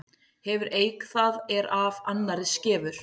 Hefur eik það er af annarri skefur.